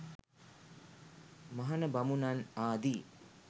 මහණ බමුණන් ආදී